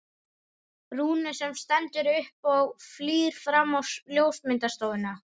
Rúnu sem stendur upp og flýr fram á ljósmyndastofuna.